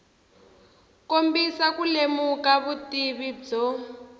kombisa ku lemuka vutivi byo